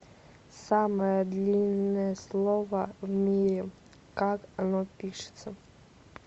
самое длинное слово в мире как оно пишется